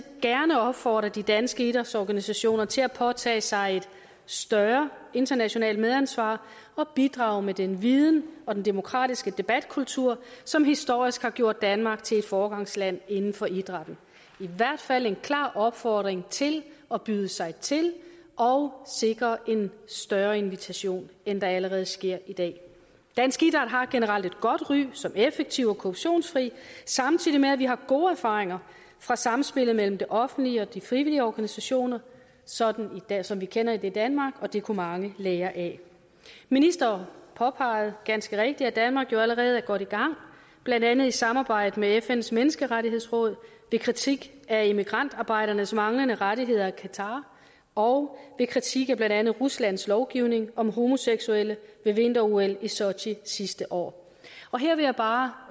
gerne opfordre de danske idrætsorganisationer til at påtage sig et større internationalt medansvar og bidrage med den viden og den demokratiske debatkultur som historisk har gjort danmark til et foregangsland inden for idrætten i hvert fald en klar opfordring til at byde sig til og sikre en større invitation end der allerede sker i dag dansk idræt har generelt et godt ry som effektiv og korruptionsfri samtidig med at vi har gode erfaringer fra samspillet mellem det offentlige og de frivillige organisationer sådan som vi kender det i danmark og det kunne mange lære af ministeren påpegede ganske rigtigt at danmark jo allerede er godt i gang blandt andet i samarbejde med fns menneskerettighedsråd ved kritik af immigrantarbejdernes manglende rettigheder i qatar og ved kritik af blandt andet ruslands lovgivning om homoseksuelle ved vinter ol i sochi sidste år her vil jeg bare